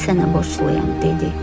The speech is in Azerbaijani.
Mən sənə borcluyam, dedi.